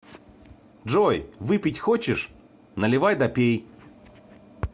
джой выпить хочешь наливай да пей